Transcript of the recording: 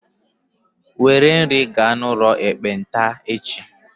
Were nri gaa n'ụlọ ekpenta echi!